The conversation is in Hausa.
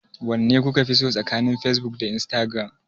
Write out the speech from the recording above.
Wanne kuka fi so tsakanin Facebook da Instagram?